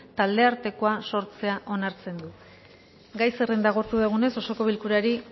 taldeartekoa sortzea onartzen du gai zerrenda agortu dugunez osoko bilkurari